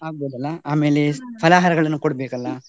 ಆಗ್ಬಹುದಲ್ಲ, ಆಮೇಲೆ ಫಲಹರಗಳನ್ನು ಕೊಡ್ಬೇಕಲ್ಲ?